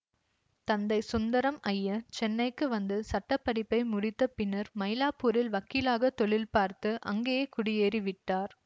தந்தை சுந்தரம் ஐயர் சென்னைக்கு வந்து சட்ட படிப்பை முடித்த பின்னர் மைலாப்பூரில் வக்கீலாகத் தொழில் பார்த்து அங்கேயே குடியேறி விட்டார்